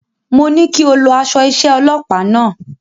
Mo ní kí o lọ aṣọ iṣẹ́ ọlọpàá náà.